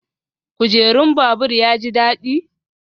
Kujerun babur ya ji daɗi?